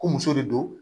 Ko muso de don